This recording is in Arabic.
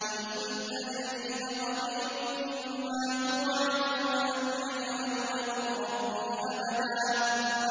قُلْ إِنْ أَدْرِي أَقَرِيبٌ مَّا تُوعَدُونَ أَمْ يَجْعَلُ لَهُ رَبِّي أَمَدًا